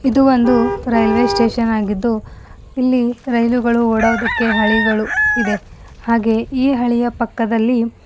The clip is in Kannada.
ಇದು ಒಂದು ರೈಲ್ವೇ ಸ್ಟೇಷನ್ ಆಗಿದ್ದು ಇಲ್ಲಿ ರೈಲುಗಳು ಓಡೊದಿಕ್ಕೆ ಹಳಿಗಳು ಇದೆ ಹಾಗೆ ಈ ಹಳಿಯ ಪಕ್ಕದಲ್ಲಿ--